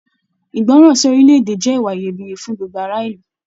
Ìgbọràn sí orilẹ-èdè jẹ ìwà Iyebiye fún gbogbo ará ìlú.